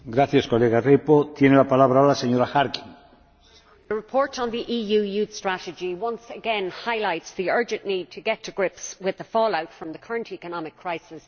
Mr President, the report on the EU Youth Strategy once again highlights the urgent need to get to grips with the fallout from the current economic crisis and its impact on young people.